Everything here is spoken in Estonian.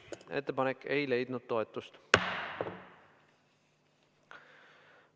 Ettepanek ei leidnud toetust.